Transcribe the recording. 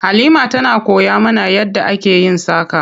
Halima tana koya mana yadda ake yin saƙa.